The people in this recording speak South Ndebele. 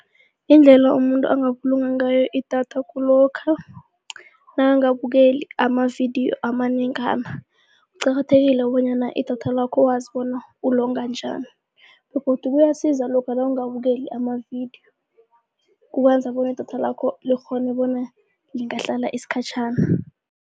Indlela umuntu angabulunga ngayo idatha kulokha nakangabukeli amavidiyo amanengana. Kuqakathekile bonyana idatha lakho wazi ulonga njani begodu kuyasiza lokha nawungabukeli amavidiyo kukwenza bona idatha lakho likghone bona lingahlala isikhatjhana.